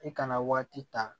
I kana waati ta